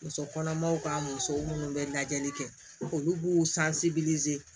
Muso kɔnɔmaw ka musow munnu bɛ lajɛli kɛ olu b'u